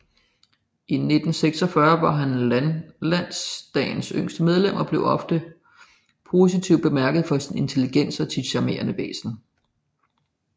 I 1946 var han Landdagens yngste medlem og blev ofte positivt bemærket for sin intelligens og sit charmerende væsen